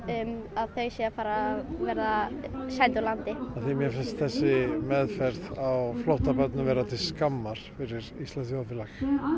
að þau séu að fara að verða send úr landi af því mér finnst þessi meðferð á flóttabörnum vera til skammar fyrir íslenskt þjóðfélag